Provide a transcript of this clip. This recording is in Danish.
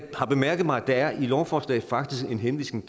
har bemærket mig at der i lovforslaget faktisk er en henvisning